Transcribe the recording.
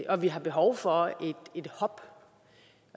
og vi har behov for et hop